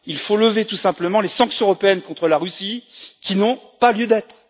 Il faut tout simplement lever les sanctions européennes contre la Russie, qui n'ont pas lieu d'être.